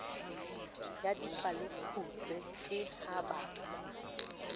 ya dipalekgutshwe ke ha ba